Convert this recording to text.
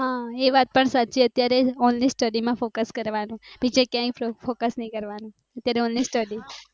હા એ વાત પણ સાચી અત્યારે onlystudy માં કરવાનું બીજે ક્યાય ની onlystudy